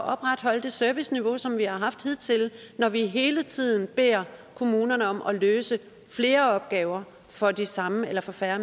opretholde det serviceniveau som vi har haft hidtil når vi hele tiden beder kommunerne om at løse flere opgaver for de samme eller for færre